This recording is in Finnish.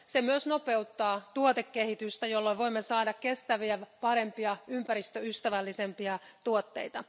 Se myös nopeuttaa tuotekehitystä, jolla voimme saada kestäviä, parempia, ympäristöystävällisempiä tuotteita.